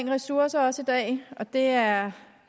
ressourcer også i dag og det er